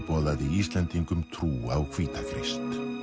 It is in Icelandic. boðaði Íslendingum trú á hvíta Krist